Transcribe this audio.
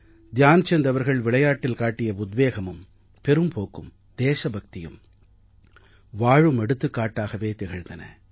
த்யான்சந்த் அவர்கள் விளையாட்டில் காட்டிய உத்வேகமும் பெரும்போக்கும் தேசபக்தியும் வாழும் எடுத்துக்காட்டாகவே திகழ்ந்தன